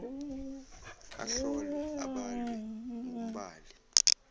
ahlolwe abalwe ngumbali